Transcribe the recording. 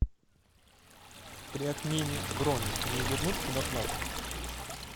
при отмене брони мне вернут предоплату